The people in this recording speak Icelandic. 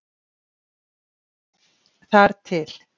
Þar til.